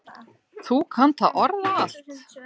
Þú kannt að orða allt.